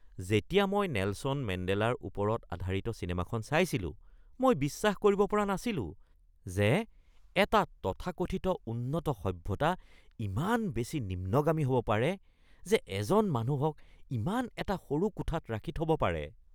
যেতিয়া মই নেলছন মেণ্ডেলাৰ ওপৰত আধাৰিত চিনেমাখন চাইছিলো, মই বিশ্বাস কৰিব পৰা নাছিলো যে এটা তথাকথিত উন্নত সভ্যতা ইমান বেছি নিম্নগামী হ'ব পাৰে যে এজন মানুহক ইমান এটা সৰু কোঠাত ৰাখি থব পাৰে